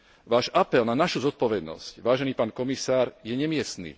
Váš apel na našu zodpovednosť, vážený pán komisár, je nemiestny.